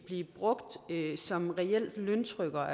blive brugt som løntrykker